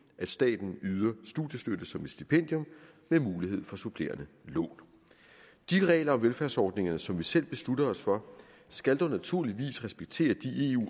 at staten yder studiestøtte som et stipendium med mulighed for supplerende lån de regler og velfærdsordninger som vi selv beslutter os for skal dog naturligvis respektere de